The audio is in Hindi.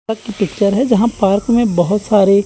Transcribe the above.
पार्क की पिक्चर है जहाँ पार्क में बहोत सारे--